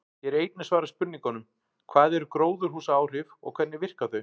Hér er einnig svarað spurningunum: Hvað eru gróðurhúsaáhrif og hvernig virka þau?